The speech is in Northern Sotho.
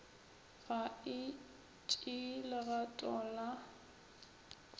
ga e tšee legato la